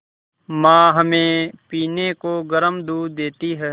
माँ हमें पीने को गर्म दूध देती हैं